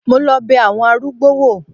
Mo lọ bẹ àwọn arúgbó wò.